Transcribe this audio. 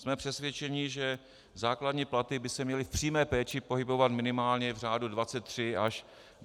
Jsme přesvědčeni, že základní platy by se měly v přímé péči pohybovat minimálně v řádu 23 až 25 tisíc korun.